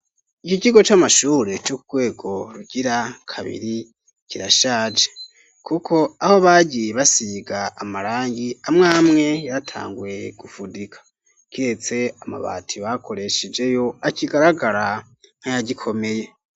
Iki kigo c'amashure co Ku rwego rugira kabiri kirashaje, kuko aho bagiye basiga amarangi amwe amwe yaratanguye gufudika, kiretse amabati bakoreshejeyo akigaragara nk'ayagikomeye.